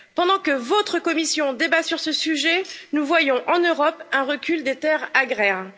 Pendant que votre Commission débat sur ce sujet, nous voyons en Europe un recul des terres agraires.